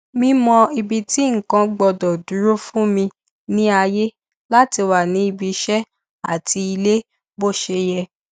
mímọ ibi tí nǹkan gbọdọ dúró fún mi ní àyè láti wà ní ibi iṣẹ àti ilé bó ṣe yẹ